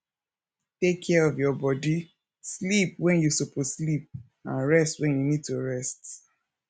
take care of your bodi sleep when you suppose sleep and rest when you need to rest